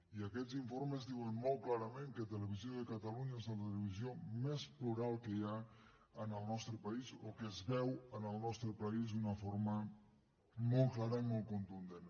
i aquests informes diuen molt clarament que televisió de catalunya és la televisió més plural que hi ha en el nostre país o que es veu en el nostre país d’una forma molt clara i molt contundent